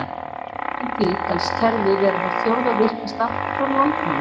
Samkvæmt því telst kerfið vera það fjórða virkasta frá landnámi.